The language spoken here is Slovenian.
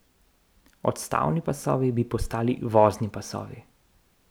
Odstavni pasovi bi postali vozni pasovi.